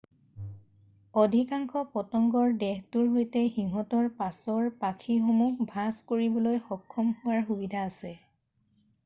অধিকাংশ পতংগৰ দেহটোৰ সৈতে সিঁহতৰ পাছৰ পাখিসমূহ ভাঁজ কৰিবলৈ সক্ষম হোৱাৰ সুবিধা থাকে৷